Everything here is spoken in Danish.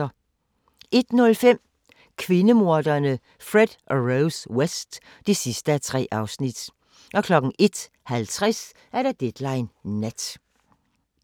01:05: Kvindemorderne Fred og Rose West (3:3) 01:50: Deadline Nat